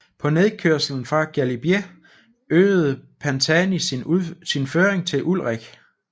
På nedkørslen fra Galibier øgede Pantani sin føring til Ullrich